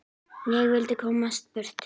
Ég vildi komast burt.